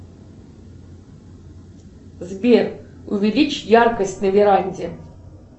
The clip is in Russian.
сбер увеличь яркость на веранде